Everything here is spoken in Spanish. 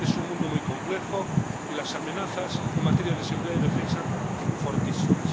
Es un mundo muy complejo y las amenazas en materia de seguridad y defensa fortísimas.